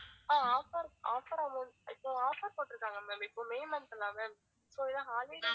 அஹ் offer offer amount இப்போ offer போட்டுருக்காங்க ma'am இப்போ மே month so இது holiday